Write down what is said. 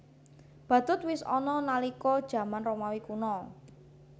Badhut wis ana nalika jaman Romawi Kuna